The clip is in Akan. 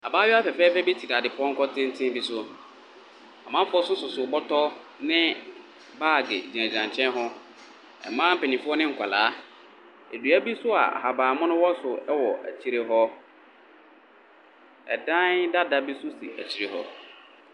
Abaayewa fɛfɛɛfɛ bi tena dadepɔnkɔ titinn bi so. Amanfuɔ so sisi bɔtɔ ne baagi gyinagyina nkyɛn hɔ, mma penyinfuɔ ne nkwalaa. Edua bi so a ahabanmunuu wɔ so ɛwɔ ɔkyire hɔ. Ɛdai dada bi so si ekyire hɔ.